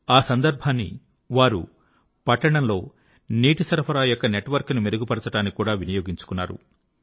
ఆ సందర్భాన్ని వారు పట్టణంలో నీటి సరఫరా యొక్క నెట్ వర్క్ ని మెరుగు పరచడానికి కూడా వినియోగించుకున్నారు